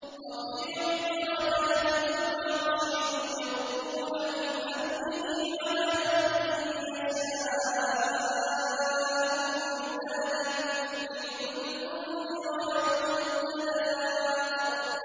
رَفِيعُ الدَّرَجَاتِ ذُو الْعَرْشِ يُلْقِي الرُّوحَ مِنْ أَمْرِهِ عَلَىٰ مَن يَشَاءُ مِنْ عِبَادِهِ لِيُنذِرَ يَوْمَ التَّلَاقِ